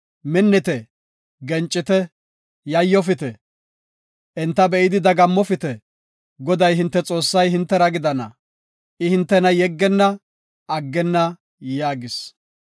Minnite; gencite; yayyofite. Enta be7idi dagammopite. Goday hinte Xoossay hintera gidana; I hintena yeggenna, aggenna” yaagis.